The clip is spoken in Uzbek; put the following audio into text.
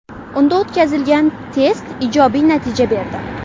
Unda o‘tkazilgan test ijobiy natija berdi.